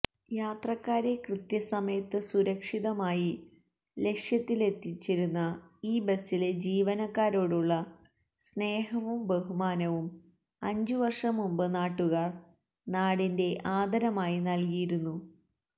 യാത്രക്കാരെ കൃത്യസമയത്ത് സുരക്ഷിതമായി ലക്ഷ്യത്തിലെത്തിച്ചിരുന്ന ഈ ബസിലെ ജീവനക്കാരോടുള്ള സ്നേഹവും ബഹുമാനവും അഞ്ചുവര്ഷംമുന്പ് നാട്ടുകാര് നാടിന്റെ ആദരമായി നല്കിയിരുന്നു